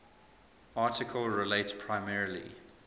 article relates primarily